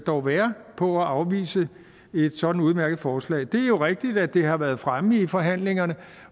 dog være på at afvise et sådant udmærket forslag det er jo rigtigt at det har været fremme i forhandlingerne